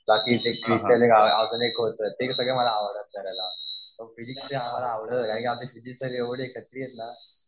ते सगळं मला आवडतं. फिजिक्स